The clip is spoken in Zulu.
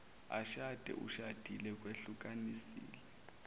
ashade ushadile wehlukanisile